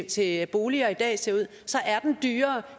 til boliger i dag ser ud så er den dyrere